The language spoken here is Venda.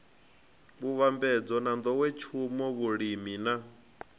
vhuvhambadzi na nḓowetshumo vhulimi na